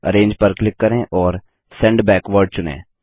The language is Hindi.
अरेंज पर क्लिक करें और सेंड बैकवार्ड चुनें